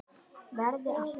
Verði alltaf.